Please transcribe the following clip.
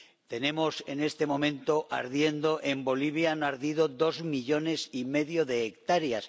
Tenemos en este momento ardiendo en Bolivia —han ardido ya— dos millones y medio de hectáreas